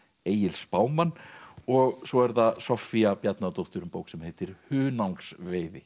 Egil spámann og svo er það Soffía Bjarnadóttir um bók sem heitir